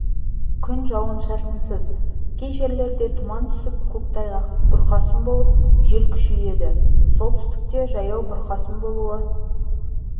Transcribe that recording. күн жауын-шашынсыз кей жерлерде тұман түсіп көктайғақ бұрқасын болып жел күшейеді солтүстікте жаяу бұрқасын болуы